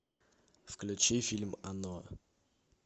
включи фильм оно